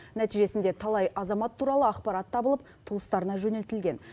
нәтижесінде талай азамат туралы ақпарат табылып туыстарына жөнелтілген